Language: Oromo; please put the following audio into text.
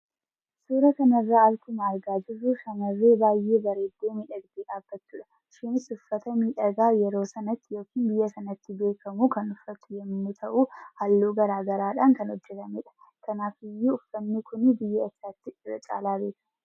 Suura kanarraa akkuma argaa jirru shamarree baay'ee bareeddu miidhagdee dhaabbatudha. Ishiinis uffata miidhagaa yeroo sanatti yookin biyya sanatti beekamu kan uffattu yemmuu ta'uu halluu garaa garaadhaan kan hojjetamedha. Kanaafiyyuu uffanni kunii biyya eessaatti irra caalaa beekama?